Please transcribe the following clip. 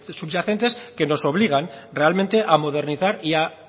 subyacentes que nos obligan realmente a modernizar y a